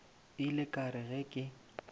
ile ka re ge ke